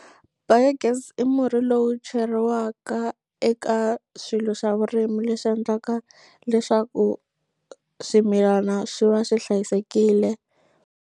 Biogas i murhi lowu cheriwaka eka swilo swa vurimi leswi endlaka leswaku swimilana swi va swi hlayisekile.